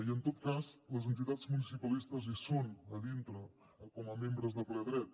i en tot cas les entitats municipalistes hi són a dintre com a membres de ple dret